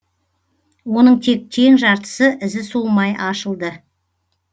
оның тек тең жартысы ізі суымай ашылды